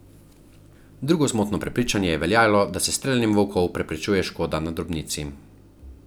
Drugo zmotno prepričanje je veljalo, da se s streljanjem volkov preprečuje škoda na drobnici.